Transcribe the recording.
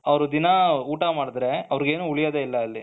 ಅವರು ದಿನ ಊಟ ಮಾಡಿದ್ರೆ ಅವರಿಗೆ ಏನೂ ಉಳಿಯೋದೇ ಇಲ್ಲ ಅಲ್ಲಿ.